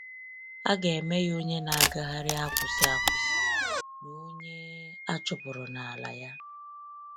A ga-eme ya onye na-agagharị akwụsị akwụsị na onye achụpụrụ n'ala ya.